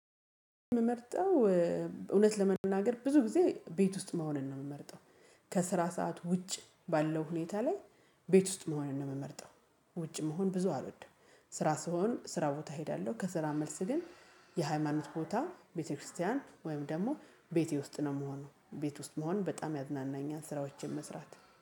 የምመርጠው እውነት ለመናገር ብዙ ጊዜ ቤት ውስጥ መሆንን ነው የምመርጠው። ከስራ ሰዓት ውጭ ባለው ሁኔታ ላይ ቤት ውስጥ መሆን ነው የምመርጠው። ውጭ መሆን ብዙ አልወድም። ስራ ስሆን ስራ ቦታ እሄዳለሁ ከስራ መልስ ግን የሃይማኖት ቦታ ቤተክርስቲያን ወይም ደግሞ ቤቴ ውስጥ ነው ምሆነው ቤት ውስጥ መሆን በጣም ያዝናናኛል ስራዎችን መስራት